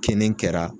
Kinni kɛra